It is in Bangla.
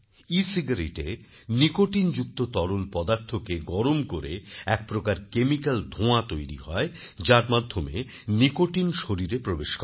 ecigaretteএ নিকোটিনযুক্ত তরল পদার্থকে গরম করে এক প্রকার কেমিক্যাল ধোঁয়া তৈরি হয় যার মাধ্যমে নিকোটিন শরীরে প্রবেশ করে